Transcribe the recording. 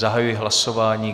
Zahajuji hlasování.